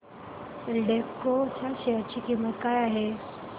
एल्डेको च्या शेअर ची किंमत काय आहे